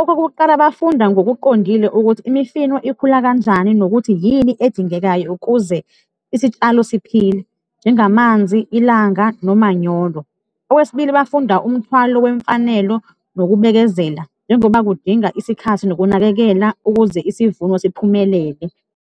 Okokuqala, bafunda ngokuqondile ukuthi imifino ikhula kanjani nokuthi yini edingekayo ukuze isitshalo siphile, njengamanzi, ilanga nomanyolo. Okwesibili, bafunda umthwalo wemfanelo nokubekezela njengoba kudinga isikhathi nokunakekela ukuze isivuno siphumelele.